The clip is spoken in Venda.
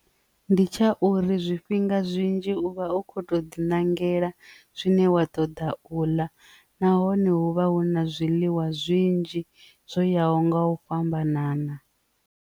Ndi tsha uri zwifhinga zwinzhi uvha u kho ṱo ḓi ṋangela zwine wa toda u ḽa nahone hu vha hu na zwiḽiwa zwinzhi zwo yaho nga u fhambanana.